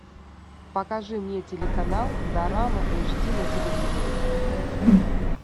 покажи мне телеканал дорама эйч ди на телевизоре